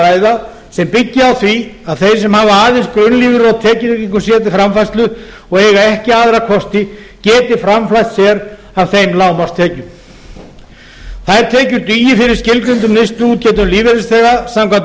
ræða sem byggi á því að þeir sem hafa aðeins grunnlífeyri og tekjutryggingu sér til framfærslu og eiga ekki aðra kosti geti framfleytt sér af þeim lágmarkstekjum þær tekjur dugi fyrir skilgreindum neysluútgjöldum lífeyrisþega samkvæmt